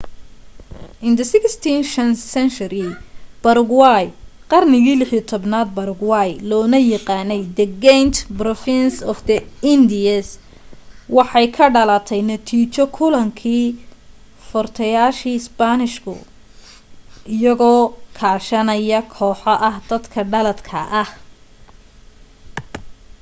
in the 16th century paraguay qarnigii 16aad paraguay loona yaqaanay the giant province of the indies waxay ka dhalatay natiijo kulankii furtayaashi spanishka iyagoo kaashanaya kooxo ah dadka dhaladka ah